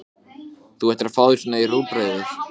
Þú ætlaðir að taka þig á svo að um munaði.